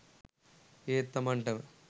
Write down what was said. ඒත් තමන්ටම